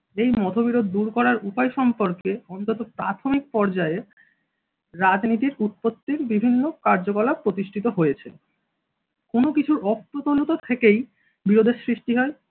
এই মতবিরোধ দূর করার উপায় সম্পর্কে অন্তত প্রাথমিক পর্যায়ে রাজনীতির উৎপত্তির বিভিন্ন কার্যকলাপ প্রতিষ্ঠিত হয়েছে. কোন কিছু অপূর্ণতা থেকেই বিরোধের সৃষ্টি হয়।